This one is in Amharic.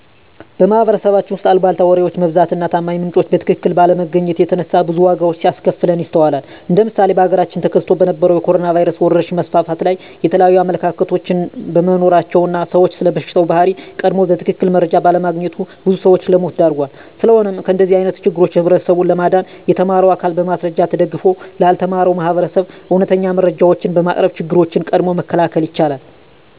በማህበረሰባችን ውስጥ አልቧልታ ወሬዎች መብዛት እና ታማኝ ምንጮችን በትክክል ባለማግኘት የተነሳ ብዙ ዋጋዎች ሲያስከፍለን ይስተዋላል እንደ ምሳሌ በሀገራችን ተከስቶ በነበረዉ የኮሮኖ ቫይረስ ወረርሽኝ መስፋፋት ላይ የተለያዩ አመለካከቶች በመኖራቸው እና ሰዉ ስለበሽታው ባህሪ ቀድሞ በትክክል መረጃ ባለማግኘቱ ብዙ ሰዎችን ለሞት ዳርጓል። ስለሆነም ከእንደዚህ አይነት ችግሮች ህብረተሰቡን ለማዳን የተማረው አካል በማስረጃ ተደግፎ ላልተማረው ማህበረሰብ እውነተኛ መረጃዎችን በማቅረብ ችግሮችን ቀድሞ መከላከል ይቻላል።